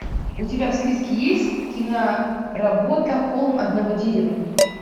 у тебя в списке есть киноработа холм одного дерева